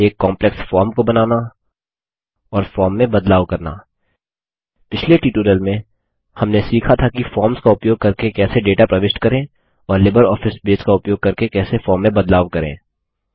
एक complex form को बनाना और फॉर्म में बदलाव करना पिछले ट्यूटोरियल में हमने सीखा था कि फॉर्म्स का उपयोग करके कैसे डेटा प्रविष्ट करें और लिबरऑफिस बेस का उपयोग करके कैसे फॉर्म में बदलाव करें